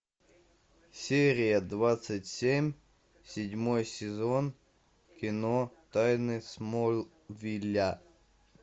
серия двадцать семь седьмой сезон кино тайны смолвиля